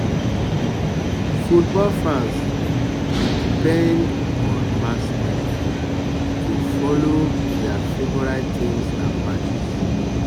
football fans dey depend on mass media to follow their favorite teams and matches.